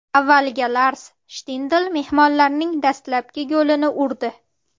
Avvaliga Lars Shtindl mehmonlarning dastlabki golini urdi.